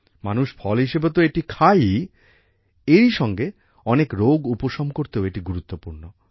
মানুষ ফল হিসেবে তো এটি খায়ই এরই সঙ্গে অনেক রোগ উপসম করতেও এটি গুরুত্বপূর্ণ